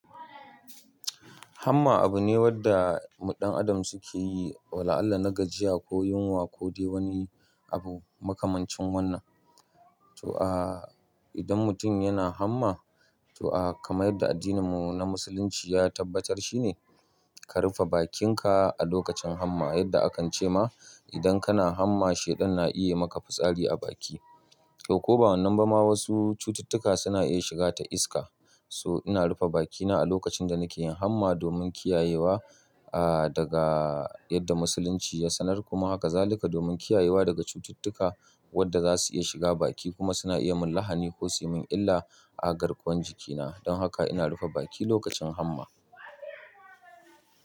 Hamma abu ne wadda mu dan Adam suke yi wa la'alla na gajiya ko yunwa, ko dai wani abu makamancin wannan. To a idan mutum yana hamma, to a kamar yadda addininmu na Musulunci ya tabbatar, shine ka rufe bakinka a lokacin hamma, yadda akan ce ma idan kana hamma, shaidan na iya maka fitsari a baki. Ko ba wannan ba ma wasu cututtuka suna iya shiga ta iska. To ina rufe bakina a lokacin da nake yin hamma domin kiyayewa, ah, daga yadda Musulunci ya sanar. Kuma haka zalika domin kiyayewa daga cututtuka wadda zasu iya shiga baki kuma suna iya min lahani ko suyi min illa a garkuwan jikina. Don haka ina rufe baki lokacin hamma.